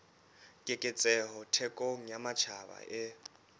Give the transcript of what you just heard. keketseho thekong ya matjhaba e